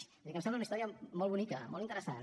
vull dir que em sembla una història molt bonica molt interessant